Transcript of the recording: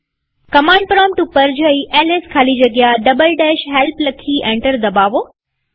command prompt પર જઈ ls ખાલી જગ્યા help લખી એન્ટર દબાવો